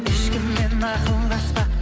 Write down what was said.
ешкіммен ақылдаспа